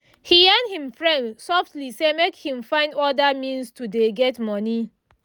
he yarn him friend softly say make him find other means to dey get money